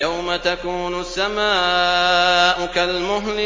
يَوْمَ تَكُونُ السَّمَاءُ كَالْمُهْلِ